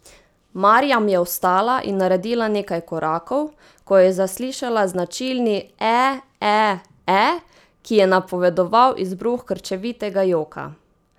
Marjam je vstala in naredila nekaj korakov, ko je zaslišala značilni ee ee ee, ki je napovedoval izbruh krčevitega joka.